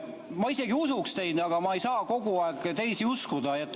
Ma isegi usuks teid, ma ei saa kogu aeg teisi uskuda.